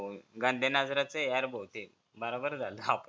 गंड्या नजरेच यार भो ते मला बरं झालं